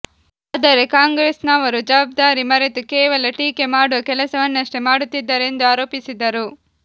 ಆದರೆ ಕಾಂಗ್ರೆಸ್ನವರು ಜವಾಬ್ದಾರಿ ಮರೆತು ಕೇವಲ ಟೀಕೆ ಮಾಡುವ ಕೆಲಸವನ್ನಷ್ಟೇ ಮಾಡುತ್ತಿದ್ದಾರೆ ಎಂದು ಆರೋಪಿಸಿದರು